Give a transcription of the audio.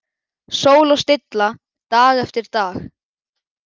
Sól og stilla dag eftir dag.